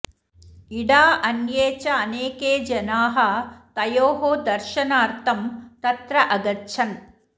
इडा अन्ये च अनेके जनाः तयोः दर्शनार्थं तत्र अगच्छन्